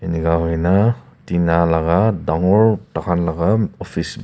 inika huina tina laga dangor bakan laga office .